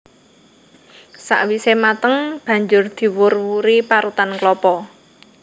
Sawisé mateng banjur diwur wuri parutan klapa